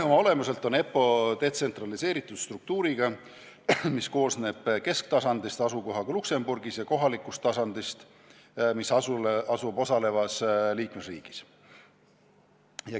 Oma olemuselt on EPPO detsentraliseeritud struktuuriga, ta koosneb kesktasandist asukohaga Luxembourgis ja kohalikust tasandist, mis asub osalevas liikmesriigis.